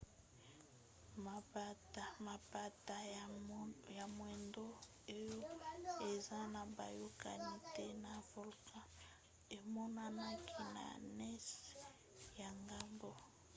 mapata ya moindo oyo eza na boyokani te na volcan emonanaki na nse ya ngomba